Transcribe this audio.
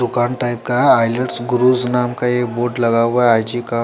दुकान टाइप का high lights क्रूस नाम का ये बोर्ड लगा हुआ है आई जी का --